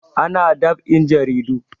Ana dab'in jaridu